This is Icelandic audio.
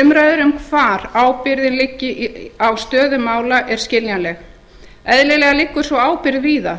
umræður um hvar ábyrgðin liggi á stöðu mála er skiljanleg eðlilega liggur sú ábyrgð víða